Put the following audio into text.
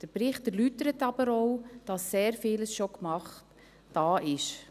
Der Bericht erläutert aber auch, dass sehr viel schon gemacht und da ist.